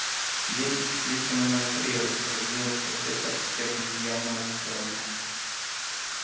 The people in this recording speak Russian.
дети теплица номер три распорядилась профессор стебль явно расстроенная